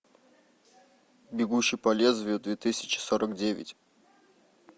бегущий по лезвию две тысячи сорок девять